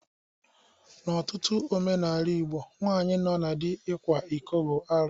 N'ọtụtụ omenala Igbo nwaanyị nọ na dị ịkwa iko bụ arụ.